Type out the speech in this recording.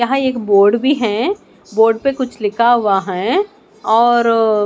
यहां एक बोर्ड भी हैं बोर्ड पे कुछ लिखा हुआ है और--